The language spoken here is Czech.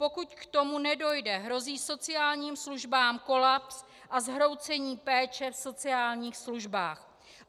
Pokud k tomu nedojde, hrozí sociálním službám kolaps a zhroucení péče v sociálních službách.